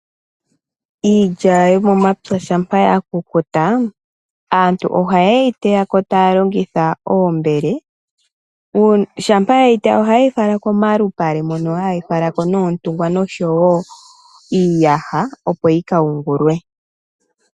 iilya yomo mapya shaampa yakukuta, aantu oha ye yi teyamo ta ya longitha oombele, eta yi fala komalupale ta ya longitha oontungwa nosho wo iiyaha opo yi ka yungulwe.